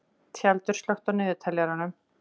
Tjaldur, slökktu á niðurteljaranum.